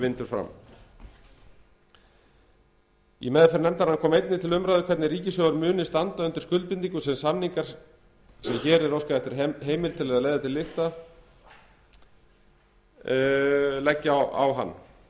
vindur fram í meðferð nefndarinnar kom einnig til umræðu hvernig ríkissjóður mundi standa undir skuldbindingum sem samningar sem hér er óskað eftir heimild til að leiða til lykta leggja á hann